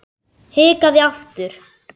Hikaði aftur.